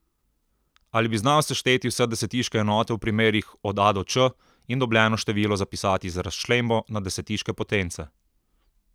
Ali bi znal sešteti vse desetiške enote v primerih od a do č in dobljeno število zapisati z razčlembo na desetiške potence?